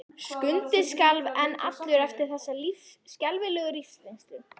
Skundi skalf enn allur eftir þessa skelfilegu lífsreynslu.